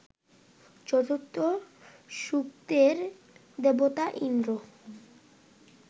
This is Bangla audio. চতুর্থ সূক্তের দেবতা ইন্দ্র